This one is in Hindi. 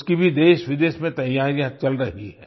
उसकी भी देशविदेश में तैयारियां चल रही हैं